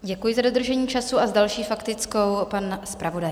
Děkuji za dodržení času a s další faktickou pan zpravodaj.